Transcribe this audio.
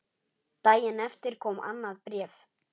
Daginn eftir kom annað bréf.